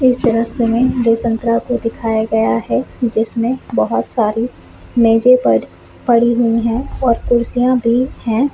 इस दृश्य में दो संतरा आपको दिखाया गया है जिसमे बहुत सारे मेजो पर पड़ी हुई है और कुर्सीया भी हैं।